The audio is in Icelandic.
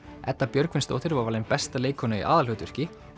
Edda Björgvinsdóttir var valin besta leikkona í aðalhlutverki